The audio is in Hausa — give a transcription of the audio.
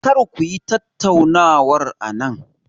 Kar ku yi tattaunawar anan.